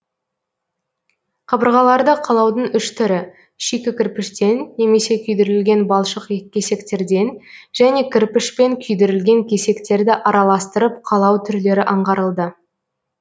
қабырғаларды қалаудың үш түрі шикі кірпіштен немесе күйдірілген балшық кесектерден және кірпішпен күйдірілген кесектерді араластырып қалау түрлері аңғарылды